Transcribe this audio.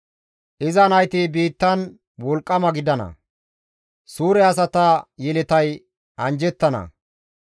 Iza nayti biittan wolqqama gidana; suure asata yeletay anjjettana.